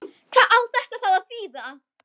Hvað á þetta þá að þýða?